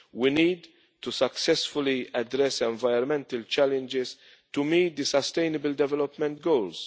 We need to successfully address environmental challenges to meet the Sustainable Development Goals.